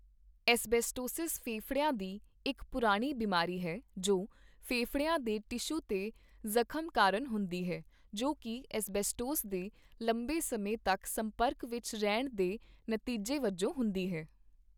Asbestosis ਫੇਫੜਿਆਂ ਦੀ ਇੱਕ ਪੁਰਾਣੀ ਬਿਮਾਰੀ ਹੈ ਜੋ ਫੇਫੜਿਆਂ ਦੇ ਟਿਸ਼ੂ 'ਤੇ ਜ਼ਖ਼ਮ ਕਾਰਨ ਹੁੰਦੀ ਹੈ ਜੋ ਕੀ ਐੱਸਬੈਸਟੋਸ ਦੇ ਲੰਬੇ ਸਮੇਂ ਤੱਕ ਸੰਪਰਕ ਵਿੱਚ ਰਹਿਣ ਦੇ ਨਤੀਜੇ ਵਜੋਂ ਹੁੰਦੀ ਹੈ।